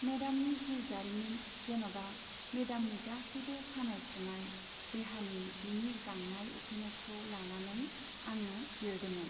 मेडामनि जिउ जारिमिन जेन'बा मेडामनि गासैबो सानाय सुनाय देहानि बिनि गांनाय उखैनायखौ लानानै आङो लिरदोंमोन।